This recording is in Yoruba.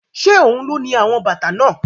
Ṣé ohun ló ni àwọn bàtà náà?